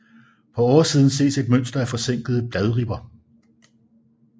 På oversiden ses et mønster af forsænkede bladribber